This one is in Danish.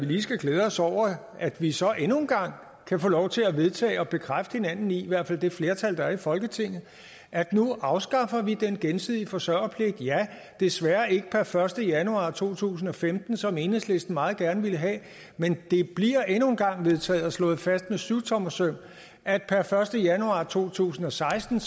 lige skal glæde os over at vi så endnu en gang kan få lov til at vedtage det og bekræfte hinanden i i hvert fald det flertal der er i folketinget at nu afskaffer vi den gensidige forsørgerpligt ja desværre ikke per første januar to tusind og femten som enhedslisten meget gerne ville have men det bliver endnu en gang vedtaget og slået fast med syvtommersøm at per første januar to tusind og seksten